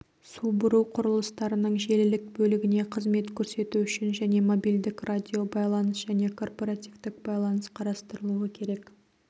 су бұру құрылыстарының желілік бөлігіне қызмет көрсету үшін және мобильдік радиобайланыс және корпоративтік байланыс қарастырылуы керек